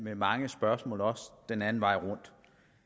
med mange spørgsmål også den anden vej rundt